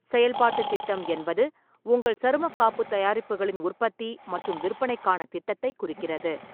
செயல்பாட்டுத் திட்டம் என்பது, உங்கள் சருமக் காப்புத் தயாரிப்புகளின் உற்பத்தி மற்றும் விற்பனைக்கான திட்டத்தைக் குறிக்கிறது.